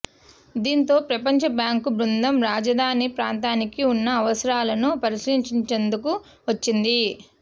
దీంతో ప్రపంచబ్యాంకు బృందం రాజధాని ప్రాంతానికి ఉన్న అవసరాలను పరిశీలించేందుకు వచ్చింది